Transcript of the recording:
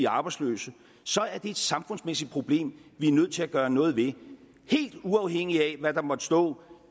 arbejdsløse så er det et samfundsmæssigt problem vi er nødt til at gøre noget ved helt uafhængigt af hvad der måtte stå